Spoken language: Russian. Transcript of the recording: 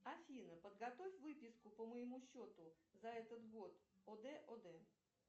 афина подготовь выписку по моему счету за этот год од од